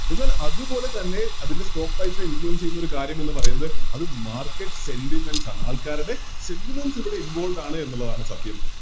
എന്നാൽ അതുപോലെതന്നെ അതിൻറെ Stock price നെ Influence ചെയ്യുന്നൊരു കാര്യമെന്ന് പറയുന്നത് അത് Market sentiments ആണ് ആൾക്കാരുടെ sentiments ഇവിടെ Involved ആണ് എന്നുള്ളതാണ് സത്യം